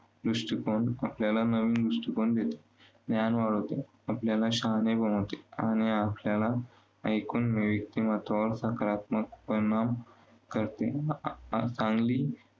दृष्टिकोन आपल्याला नवीन दृष्टिकोन देतो ज्ञान वाढवतो. आपल्याला शहाणे बनवते. आणि आपल्याला एकून व्यक्तिमत्वावर सकारात्मक परिणाम करते.